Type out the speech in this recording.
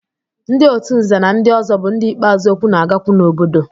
Ndị otu nze na ndị ọzọ bụ ndị ikpeazụ okwu na-agakwu n'obodo.